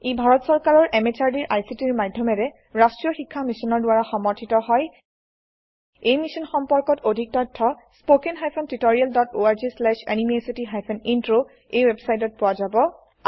ই ভাৰত চৰকাৰৰ MHRDৰ ICTৰ মাধয়মেৰে ৰাস্ত্ৰীয় শিক্ষা মিছনৰ দ্ৱাৰা সমৰ্থিত হয় এই মিশ্যন সম্পৰ্কত অধিক তথ্য spoken hyphen tutorial dot org slash এনএমইআইচিত হাইফেন ইন্ট্ৰ এই ৱেবচাইটত পোৱা যাব